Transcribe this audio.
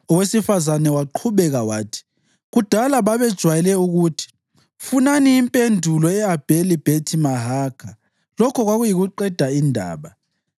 Owesifazane waqhubeka wathi, “Kudala babejwayele ukuthi, ‘Funani impendulo e-Abheli-Bhethi-Mahakha,’ lokho kwakuyiqeda indaba.